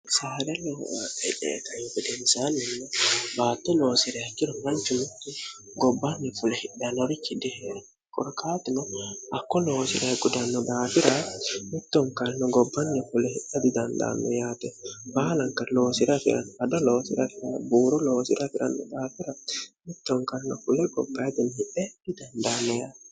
saara lohu hidheetnfudensaanninne baatto noosirehekino manchi mutti gobbanni fule hidhenorichi diheerkorkaatino akko noosirah gudanno daafira mittonkalno gobbanni fule hiha didandaanno yaate baalanka loosirafirado loosirafi buuro loosira fi'ranno daafira mittonkanno fule gopa ignhieidandaanni yat